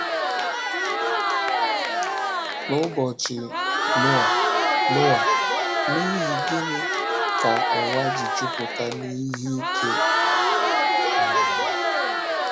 N’ụbọchị Noa, Noa, n’ihi gịnị ka ụwa ji ‘ jupụta n’ihe ike um ’?